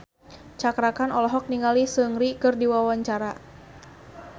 Cakra Khan olohok ningali Seungri keur diwawancara